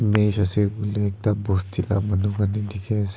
match ase koiley ekta bosti la ka manu khan dikhi ase.